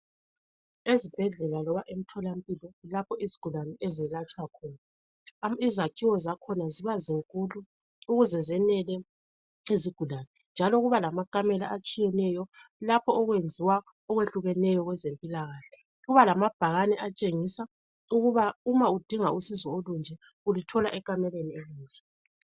Ezibhedlela loba emtholampilo kulapho izigulane ezelatshwa khona. Izakhiwo zakhona ziba zinkulu ukuze zenele izigulane njalo kuba lamakamela atshiyeneyo lapho okwenziwa okwehlukeneyo okwezempilakahle. Kuba lamabhakane atshengisa ukuba uma udinga usizo olunje uluthola ekamelweni elinjani.